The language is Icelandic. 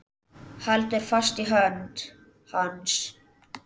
Heldur fast í hönd hans.